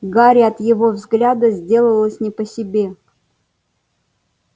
гарри от его взгляда сделалось не по себе